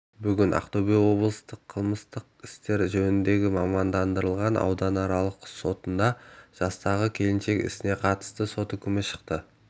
бүгін ақтөбе облыстық қылмыстық істер жөніндегі мамандандырылған ауданаралық сотында жастағы келіншектің ісіне қатысты сот үкімі шықты